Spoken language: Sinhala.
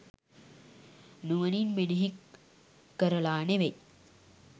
නුවණින් මෙනෙහි කරලා නෙවෙයි.